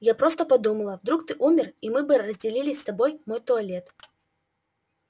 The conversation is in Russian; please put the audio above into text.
я просто подумала вдруг ты умер и мы бы разделили с тобой мой туалет